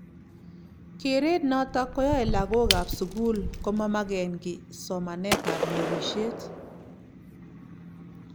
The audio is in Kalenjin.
geret noto koyae lagookab sugul komamagen kiiy somanetab nabishet